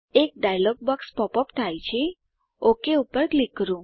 એક dialog box pop up થાય છે ઓક પર ક્લિક કરો